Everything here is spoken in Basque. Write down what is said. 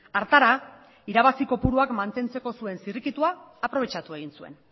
hartara irabazi kopuruak mantentzeko zuen zirrikitua aprobetxatu egin zuen